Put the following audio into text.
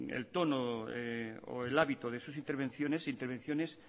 el tono o el hábito de sus intervenciones intervenciones